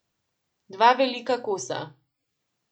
Dva velika kosa.